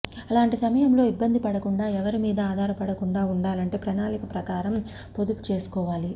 అలాంటి సమయంలో ఇబ్బంది పడకుండా ఎవరిమీద ఆధారపడకుండా ఉండాలంటే ప్రణాళిక ప్రకారం పొదుపు చేసుకోవాలి